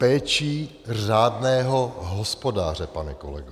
Péčí řádného hospodáře, pane kolego.